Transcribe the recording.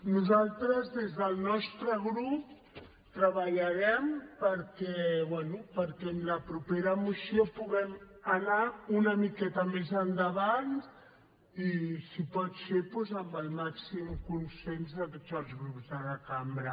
nosaltres des del nostre grup treballarem perquè bé en la propera moció puguem anar una miqueta més endavant i si pot ser doncs amb el màxim consens de tots els grups de la cambra